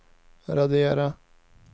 radera